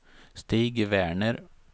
Stig Werner